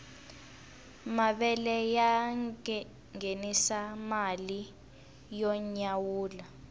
mavele ya ngenisa mali yo nyawula